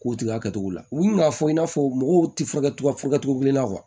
K'o tigɛ a kɛcogo la u b'a fɔ i n'a fɔ mɔgɔw tɛ furakɛ cogo kelen na